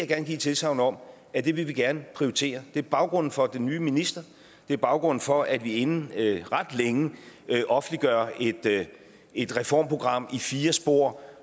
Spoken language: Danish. gerne give et tilsagn om at det vil vi gerne prioritere det er baggrunden for den nye minister og det er baggrunden for at vi inden ret længe offentliggør et reformprogram i fire spor